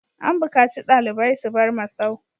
An bukaci ɗalibai su bar masau!